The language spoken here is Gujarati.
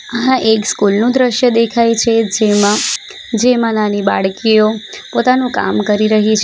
આ એક સ્કૂલ નું દ્રશ્ય દેખાય છે જેમાં જેમાં નાની બાળકીઓ પોતાનું કામ કરી રહી છ --